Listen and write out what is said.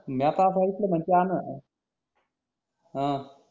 म्या त अस आयकल म्हणे की त्यान अं